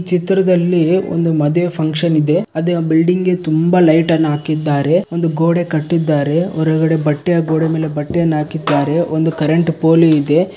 ಚಿತ್ರದಲ್ಲಿ ಒಂದು ಮದುವೆ ಫಂಕ್ಷನ್ ಇದೆ. ಅದೇ ಆ ಬಿಲ್ಡಿಂಗ್ ಗೆ ತುಂಬಾ ಲೈಟ್ ಅನ್ನ ಹಾಕಿದ್ದಾರೆ ಒಂದು ಗೋಡೆ ಕಟ್ಟಿದ್ದಾರೆ. ಹೊರಗಡೆ ಬಟ್ಟೆ ಅ ಗೋಡೆ ಮೇಲೆ ಬಟ್ಟೆಯನ್ನ ಹಾಕಿದ್ದಾರೆ. ಒಂದ್ ಕರೆಂಟ್ ಪೋಲಿ ಇದೆ.